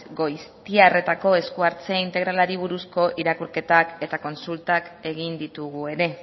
goiztiarretako eskuhartze integralari buruzko irakurketak eta kontsultak egin ditugu ere